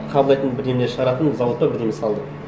қабылдайтын бірдеңелер шығаратын завод па бірдеңе салды